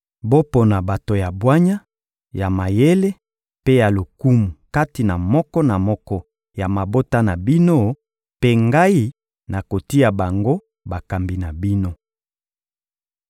Bopona bato ya bwanya, ya mayele mpe ya lokumu kati na moko na moko ya mabota na bino, mpe ngai nakotia bango bakambi na bino.